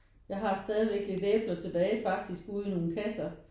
Jeg har stadigvæk lidt æbler tilbage faktisk ude i nogen kasser